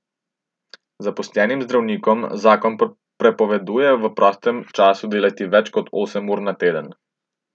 Zaposlenim zdravnikom zakon prepoveduje v prostem času delati več kot osem ur na teden.